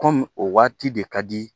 Kɔmi o waati de ka di